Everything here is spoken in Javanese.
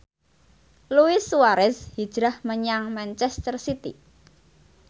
Luis Suarez hijrah menyang manchester city